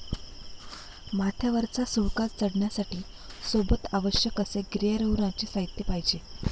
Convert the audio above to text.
माथ्यावरचा सुळका चढण्यासाठी सोबत आवश्यक असे गिर्यारोहणाचे साहित्य पाहिजे